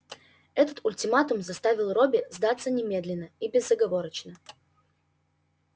этот ультиматум заставил робби сдаться немедленно и безоговорочно